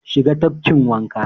Shiga tafkin wanka!